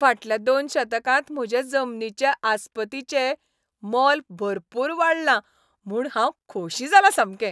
फाटल्या दोन दशकांत म्हजे जमनीचे आस्पतीचें मोल भरपूर वाडलां म्हूण हांव खोशी जालां सामकें.